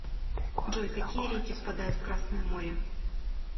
джой какие реки впадают в красное море